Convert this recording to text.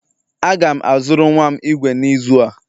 Aga m azụrụ nwa m igwe n'izu a